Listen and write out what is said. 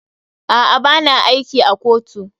A'a, ba na aiki a kotu.